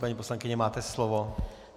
Paní poslankyně, máte slovo.